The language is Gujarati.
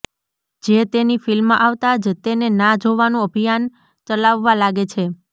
જે તેની ફિલ્મ આવતા જ તેને ના જોવાનું અભિયાન ચલાવવા લાગે છે